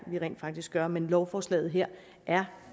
vi rent faktisk gør men lovforslaget her er